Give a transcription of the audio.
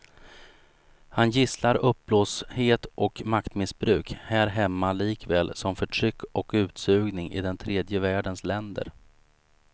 Han gisslar uppblåsthet och maktmissbruk här hemma likaväl som förtryck och utsugning i den tredje världens länder.